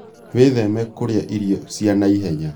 Wĩtheme kũrĩa irio cia naihenya